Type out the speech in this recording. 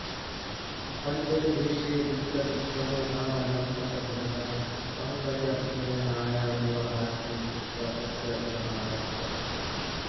पञ्चमे दृश्ये विपुलविक्रमो नाम लम्पटधनिकः पङ्कजनयनाया विवाहार्थी भूत्वा तस्या गृहमागच्छत्